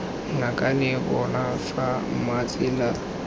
ngakane bona fa mma tsela